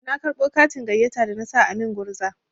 Na karɓo katin gayyata da na sa a min gurza.